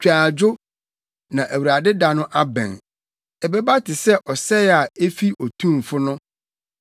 Twa adwo, na Awurade da no abɛn; ɛbɛba te sɛ ɔsɛe a efi Otumfo no.